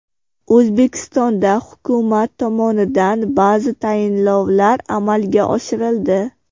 O‘zbekistonda hukumat tomonidan ba’zi tayinlovlar amalga oshirildi.